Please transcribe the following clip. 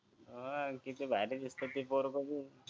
अं किती झाली दुसऱ्यांची पोर बघून